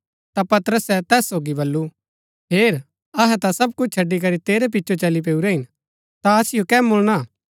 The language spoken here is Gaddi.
ता पतरसे तैस सोगी बल्लू हेर अहै ता सब कुछ छड़ी करी तेरै पिचो चली पैऊरै हिन ता असिओ कै मुळना